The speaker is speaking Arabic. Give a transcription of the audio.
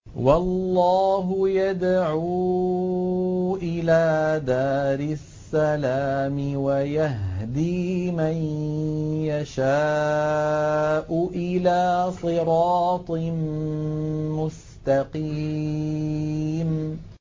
وَاللَّهُ يَدْعُو إِلَىٰ دَارِ السَّلَامِ وَيَهْدِي مَن يَشَاءُ إِلَىٰ صِرَاطٍ مُّسْتَقِيمٍ